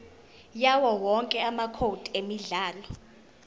yawowonke amacode emidlalo